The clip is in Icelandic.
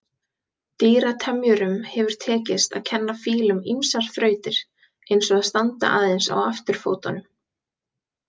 Dýratemjurum hefur tekist að kenna fílum ýmsar þrautir, eins og að standa aðeins á afturfótunum.